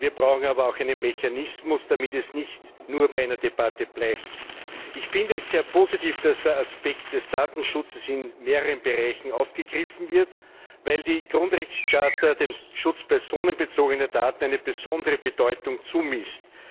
Wir brauchen aber auch einen Mechanismus, damit es nicht nur bei einer Debatte bleibt. Ich finde es sehr positiv, dass der Aspekt des Datenschutzes in mehreren Bereichen aufgegriffen wird, weil die Grundrechtecharta dem Schutz personenbezogener Daten eine besondere Bedeutung zumisst.